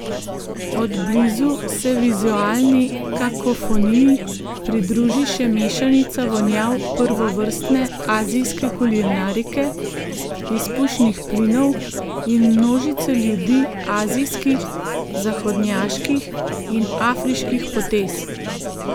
Od blizu se vizualni kakofoniji pridruži še mešanica vonjav prvovrstne azijske kulinarike, izpušnih plinov in množice ljudi azijskih, zahodnjaških in afriških potez.